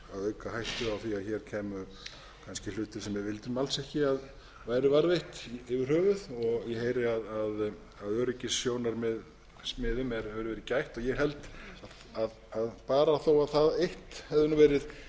auka hættu á því að hér kæmu kannski hlutir sem við vildum alls ekki að væru varðveittir yfir höfuð ég heyri að að öryggissjónarmiðum hefur verið gætt og ég held að barátta og það eitt hefði verið